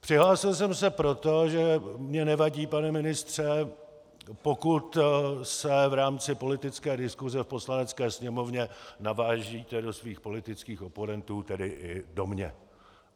Přihlásil jsem se proto, že mi nevadí, pane ministře, pokud se v rámci politické diskuse v Poslanecké sněmovně navážíte do svých politických oponentů, tedy i do mě.